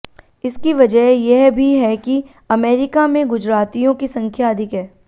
इसकी वजह यह भी है कि अमेरिका में गुजरातियों की संख्या अधिक है